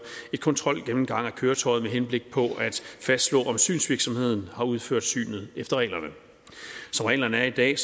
en kontrolgennemgang af køretøjet med henblik på at fastslå om synsvirksomheden har udført synet efter reglerne som reglerne er i dag